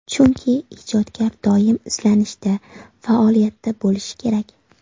Chunki, ijodkor doim izlanishda, faoliyatda bo‘lishi kerak.